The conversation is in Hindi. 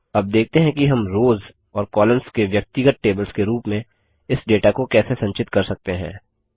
अब देखते हैं कि हम रोज़ और कॉलम्स के व्यक्तिगत टेबल्स के रूप में इस डेटा को कैसे संचित कर सकते हैं